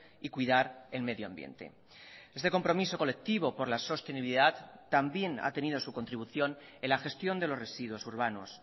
y cuidar el medio ambiente este compromiso colectivo por la sostenibilidad también ha tenido su contribución en la gestión de los residuos urbanos